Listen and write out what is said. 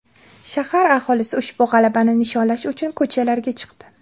Shahar aholisi ushbu g‘alabani nishonlash uchun ko‘chalarga chiqdi .